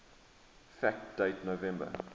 fact date november